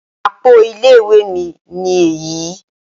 Àpo ilé ìwé mi ni èyí